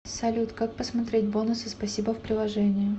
салют как посмотреть бонусы спасибо в приложении